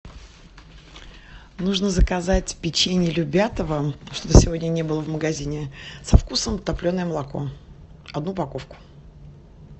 нужно заказать печень любятово что то сегодня не было в магазине со вкусом топленое молоко одну упаковку